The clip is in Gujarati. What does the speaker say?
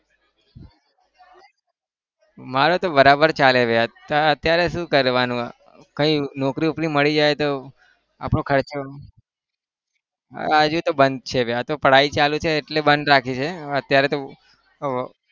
મારે તો બરાબર ચાલે યાર અત્યારે શું કરવાનું હોય? કઈ નોકરી વોકરી મળી જાય તો આપણો ખર્ચો હજી તો બંધ છે ભાઈ આ તો पढाई ચાલુ છે એટલે બંધ રાખ્યું છે અત્યારે તો આહ